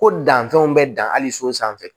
Ko danfɛnw bɛ dan hali so sanfɛ